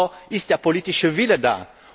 Aber ist der politische Wille da?